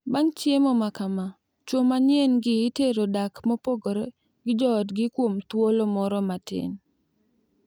Bang` chiemo makama, chwo manyien gi itero dak mopogore gi joodgi kuom thuolo moro matin.